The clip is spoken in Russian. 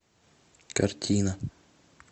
картина